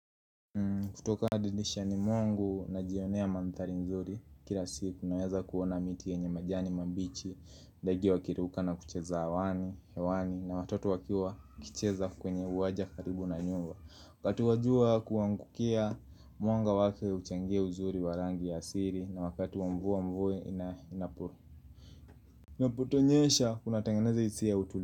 Kutoka dirishani mwangu najionea mandhari nzuri Kila siku naweza kuona miti yenye majani mambichi ndege wakiruka na kucheza hewani, hewani na watoto wakiwa kucheza kwenye uwanja karibu na nyumba kati wa jua kuangukia mwanga wake uchangie uzuri wa rangi ya asili na wakati wa mvua mvua ina inapuru Naputo nyesha kuna tangeneza isi ya utuli.